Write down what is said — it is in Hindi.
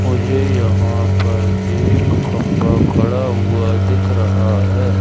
मुझे यहां पर एक खंबा खड़ा हुआ दिख रहा है।